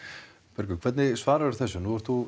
Bergur hvernig svararðu þessu nú ert þú